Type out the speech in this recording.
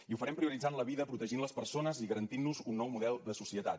i ho farem prioritzant la vida protegint les persones i garantint nos un nou model de societat